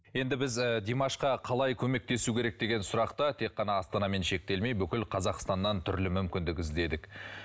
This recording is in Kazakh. енді біз ы димашқа қалай көмектесу керек деген сұрақты тек қана астанамен шектелмей бүкіл қазақстаннан түрлі мүмкіндік іздедік